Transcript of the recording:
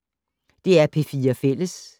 DR P4 Fælles